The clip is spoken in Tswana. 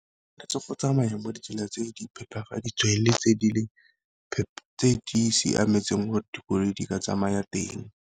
go tsamaya mo ditseleng tse di phepafaditsweng le tse di leng, tse di siametseng gore dikoloi di ka tsamaya teng.